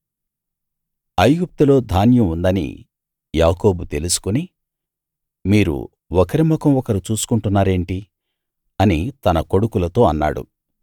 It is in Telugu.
ఐగుప్తులో ధాన్యం ఉందని యాకోబు తెలుసుకుని మీరు ఒకరి ముఖం ఒకరు చూసుకుంటున్నారేంటి అని తన కొడుకులతో అన్నాడు